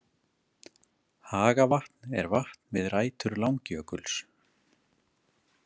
Hagavatn er vatn við rætur Langjökuls.